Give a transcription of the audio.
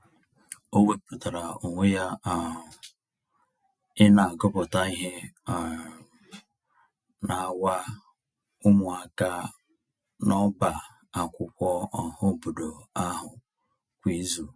O wepụtara onwe ya um ị na-agụpụta ihe um n’awa ụmụaka n'ọbá akwụkwọ ọhaobodo ahụ kwa izu.